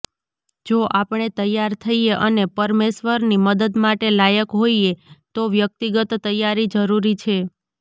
જો આપણે તૈયાર થઈએ અને પરમેશ્વરની મદદ માટે લાયક હોઈએ તો વ્યક્તિગત તૈયારી જરૂરી છે